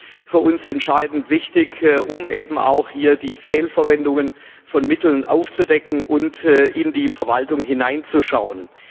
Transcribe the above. Er ist für uns entscheidend wichtig, um eben auch hier die Fehlverwendungen von Mitteln aufzudecken und in die Verwaltung hineinzuschauen.